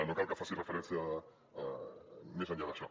no cal que faci referència més enllà d’això